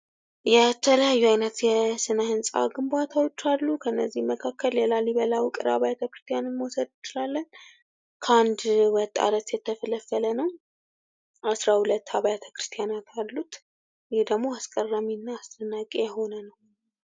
የተለያዩ አይነት የስነ ህንጻ ግንባታዎች አሉ። ከነዚህም መካከል የላሊበላ ውቅር አብያተ ክርስቲያንን መውሰድ እንችላለን። ከአንድ ወጥ አለት የተፈለፈለ ነው። አስራ ሁለት አብያተ ክርስቲያናት አሉት። ይህ ደግሞ አስገራሚና አስደናቂ የሆነ ነው።